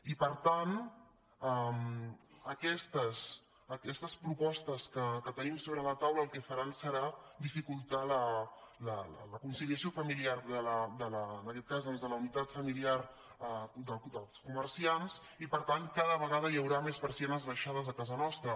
i per tant aquestes propostes que tenim sobre la taula el que faran serà dificultar la conciliació familiar en aquest cas doncs de la unitat familiar dels comerciants i per tant cada vegada hi haurà més persianes abaixades a casa nostra